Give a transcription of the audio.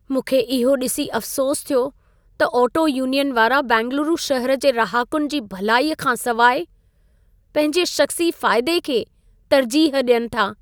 मूंखे इहो ॾिसी अफ़सोसु थियो त ऑटो यूनियन वारा बेंगलुरु शहर जे रहाकुनि जी भलाईअ खां सवाइ पंहिंजे शख़्सी फ़ाइदे खे तर्जीह ॾियनि था।